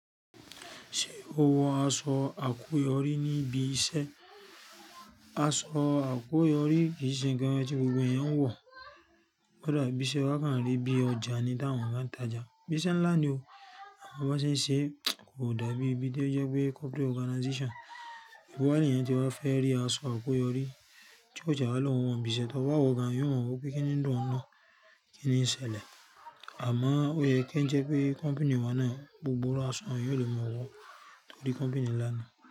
Ṣé o wọ aṣọ àkúyọrí níbi iṣẹ́? Aṣọ àkúyọrí kì í ṣe nǹkan tí gbogbo èeyàn ń wọ, k ó dàbí iṣe wa kàn rí bí ọjà ni táwọn èèyàn bá ń tajà. Bí iṣẹ́ ńlá ni o, àmọ́ bó ń ṣe ń ṣe, kò dàbí ibi tó jẹ́ pé corporate organization. Ibo wa leèyàn tí wa fẹ́ rí aṣọ àkoyọrí tí ó tiẹ́ wà lọ́ oun wa n, bí iṣẹ́ tó bá wọ gan, yóò wọ pé kíni ń dùn ọ́un, kíni ń ṣẹlẹ̀. Àmọ́ ó yẹ kí ń jẹ́ pé company wa náà, gbogbo irú aṣọ yẹn èèyàn ó lè máa wọ torí company ńlá ni.